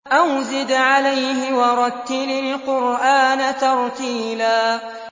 أَوْ زِدْ عَلَيْهِ وَرَتِّلِ الْقُرْآنَ تَرْتِيلًا